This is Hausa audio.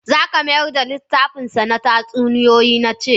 Zaka mayar da littafinsa na tatsuniyoyi na ce!